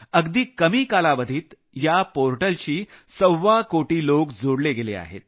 अगदी कमी कालावधीत या पोर्टलशी सव्वाकोटी लोक जोडले गेले आहेत